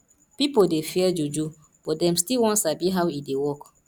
pipo dey fear juju but dem still wan sabi how e dey work